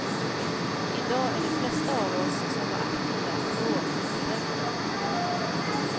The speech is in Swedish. Idag är de flesta av oss som var aktiva då utbrända.